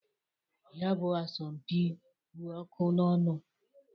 Ya bụ asọmpị kpụ ọkụ n'ọnụ.